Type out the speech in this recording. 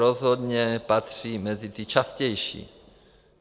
Rozhodně patří mezi ty častější.